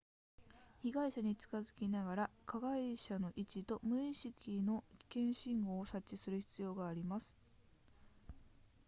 被害者に近づきながら被害者の位置と無意識の危険信号を察知する必要があります